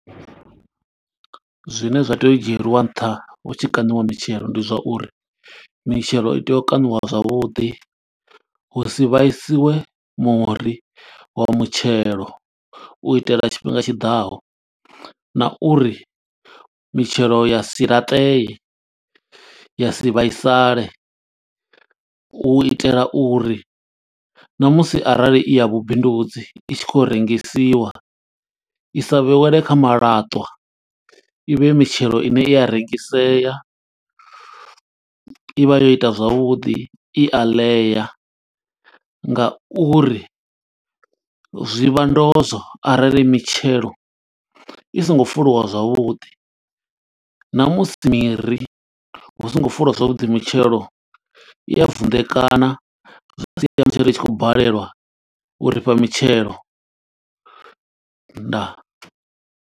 Zwine zwa tea u dzhielwa nṱha hu tshi kaṋiwa mitshelo ndi zwa uri, mitshelo i tea u kaṋiwa zwavhuḓi. Hu si vhaisiwe muri wa mutshelo, u itela tshifhinga tshiḓaho na uri mitshelo ya si laṱeye, ya si vhaisale. U itela uri na musi arali i ya vhubindudzi, i tshi khou yo rengisiwa, i sa vhewelwe kha malatwa, i vhe mitshelo ine i a rengisea. I vha yo ita zwavhuḓi, i a ḽea nga uri zwi vha ndozwo arali mitshelo i songo fuliwa zwavhuḓi. Na musi miri hu songo fuliwa zwavhuḓi, mitshelo i ya vunḓekanywa, zwa sia zwi tshi khou balelwa u ri fha mitshelo, ndaa.